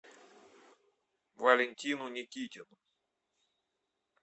валентину никитину